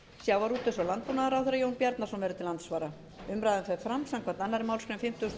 sjávarútvegs og landbúnaðarráðherra jón bjarnason verður til andsvara umræðan fer fram samkvæmt annarri málsgrein fimmtugustu